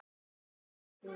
Og við börnin.